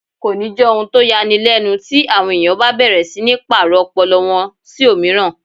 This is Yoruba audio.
Kò ní jẹ́ ohun tó ya ni lẹ́nu ti àwọn èèyàn bá bẹ̀rẹ̀ sí ní pàrọ̀ ọpọlọ wọn sí òmíràn